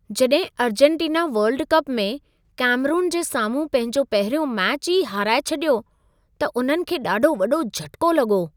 जॾहिं Argentina World Cup में Cameroon जे साम्हूं पंहिंजो पहिरियों मैच ई हाराए छॾियो, त उन्हनि खे ॾाढो वॾो झटिको लॻो।